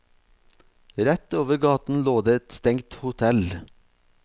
Rett over gaten lå det et stengt hotell.